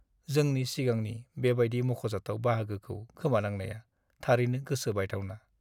जोंनि सिगांनि बेबायदि मख'जाथाव बाहागोखौ खोमानांनाया थारैनो गोसो बायथावना।